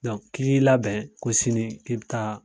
Donk k'i k'i labɛn ko sini k'i bi taa